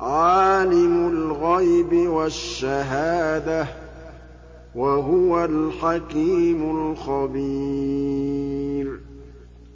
عَالِمُ الْغَيْبِ وَالشَّهَادَةِ ۚ وَهُوَ الْحَكِيمُ الْخَبِيرُ